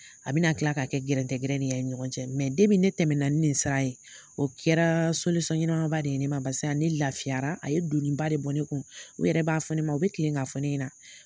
A bɛna kila k'a kɛ gɛrɛtɛrani cɛ ne tɛmɛna ni nin sira ye o kɛra ɲɛnama ba de ye ne ma barisa ne lafiyara a ye doniba de bɔ ne kun u yɛrɛ b'a fɔ ne ma u bɛ kilen k'a fɔ ne ɲɛna